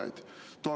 Nüüd Euroopa toetused.